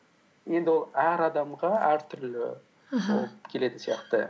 енді ол әр адамға әртүрлі келетін сияқты